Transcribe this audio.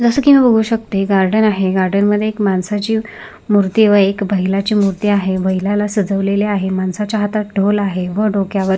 जस की मी बघू शकते गार्डन आहे गार्डन मध्ये एक माणसाची मूर्ती व बैलाची मूर्ती आहे व बैलाला सजवलेले आहे माणसाच्या हातात ढोल आहे व डोक्यावर --